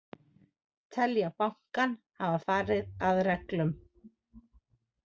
Telja bankann hafa farið að reglum